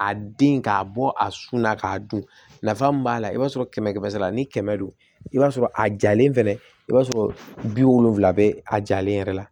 A den k'a bɔ a su la k'a dun nafa mun b'a la i b'a sɔrɔ kɛmɛ kɛmɛ sara la ni kɛmɛ do i b'a sɔrɔ a jalen i b'a sɔrɔ bi wolonwula bɛ a jalen yɛrɛ la